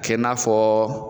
kɛ n'a fɔ